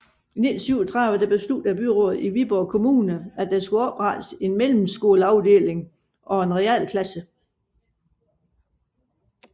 I 1937 besluttede byrådet i Viborg Kommune at der skulle oprettes en mellemskoleafdeling og realklasse